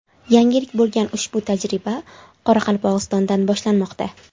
Yangilik bo‘lgan ushbu tajriba Qoraqalpog‘istondan boshlanmoqda.